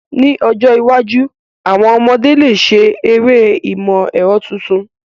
Ní ọjọ́ iwájú, àwon ọmọdé lè ṣe eré ìmọ̀ ẹ̀rọ tuntun.